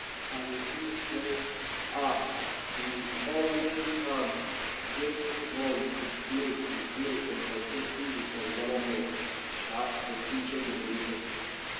i dey think say um we all um get role to play to play in protecting di environment um for future generations